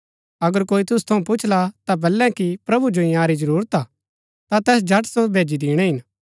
अगर कोई तुसु थऊँ पुछला ता बलै कि प्रभु जो इन्यारी जरूरत हा ता तैस झट सो भैजी दिणै हिन